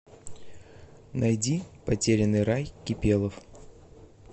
найди потерянный рай кипелов